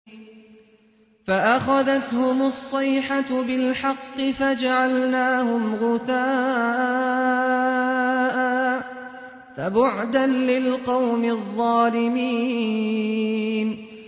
فَأَخَذَتْهُمُ الصَّيْحَةُ بِالْحَقِّ فَجَعَلْنَاهُمْ غُثَاءً ۚ فَبُعْدًا لِّلْقَوْمِ الظَّالِمِينَ